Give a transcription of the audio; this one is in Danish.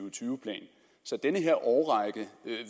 og tyve plan så den her årrække